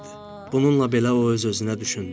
Bununla belə o öz-özünə düşündü.